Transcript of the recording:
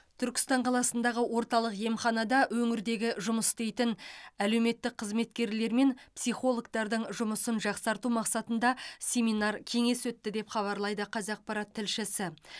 түркістан қаласындағы орталық емханада өңірдегі жұмыс істейтін әлеуметтік қызметкерлер мен психологтардың жұмысын жақсарту мақсатында семинар кеңес өтті деп хабарлайды қазақпарат тілшісі